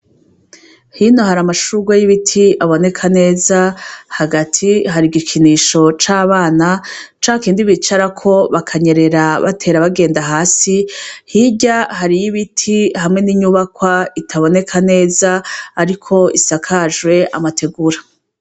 Hino hari amashurwe y'ibiti aboneka neza. Hagati hari igikinisho c'abana, ca kindi bicarako bakanyerera batera bagenda hasi, hirya hariyo ibiti hamwe n'inyubakwa itaboneka neza ariko isakajwe amategura.